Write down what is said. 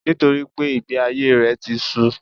Nítorípé ìgbé ayé rè ti su